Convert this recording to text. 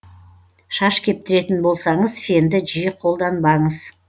шаш кептіретін болсаңыз фенді жиі қолданбаңыз